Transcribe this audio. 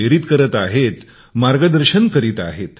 प्रेरित करीत आहेत मार्गदर्शन करत आहेत